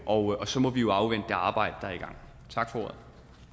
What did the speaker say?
og så må vi jo afvente det arbejde der er i gang tak for